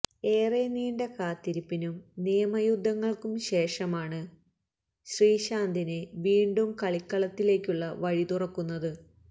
ഏറെ നീണ്ട കാത്തിരിപ്പിനും നിയമയുദ്ധങ്ങള്ക്കും ശേഷമാണ് ശ്രീശാന്തിന് വീണ്ടും കളിക്കളത്തിലേക്കുള്ള വഴിത്തുറക്കുന്നത്